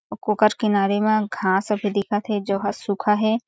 ओकर किनारे मा घास ह भी दिखत हे जो ह सूखा हे।